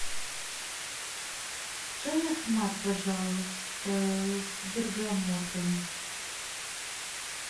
чай ахмад пожалуйста с бергамотом